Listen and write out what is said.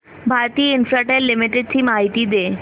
Bharti Infratel limited ची माहिती दे